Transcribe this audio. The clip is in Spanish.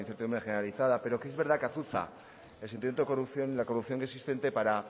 incertidumbre generalizada pero que es verdad que azuza el sentimiento de corrupción la corrupción que existente para